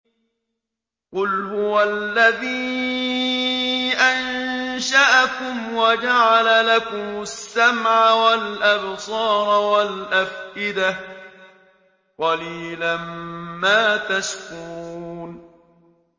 قُلْ هُوَ الَّذِي أَنشَأَكُمْ وَجَعَلَ لَكُمُ السَّمْعَ وَالْأَبْصَارَ وَالْأَفْئِدَةَ ۖ قَلِيلًا مَّا تَشْكُرُونَ